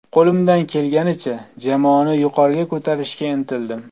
Qo‘limdan kelganicha jamoani yuqoriga ko‘tarishga intildim.